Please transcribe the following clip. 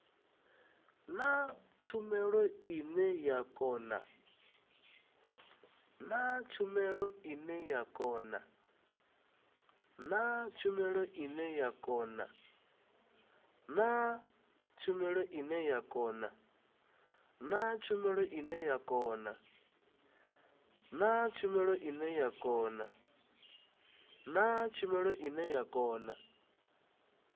na tshumelo ine ya kona